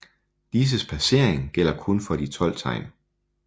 Disses placering gælder kun for de 12 tegn